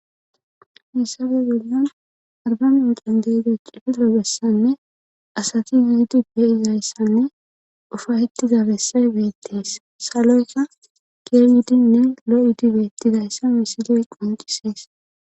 Haysappe bollan arba mincen de'iza cililo besayne asati yidi beyizaysanne loobessanne asati yuidu beyizayssanne ufahittizabessay beettees saloyka gieryidinne lo7idibettidayssa misiley qoncisees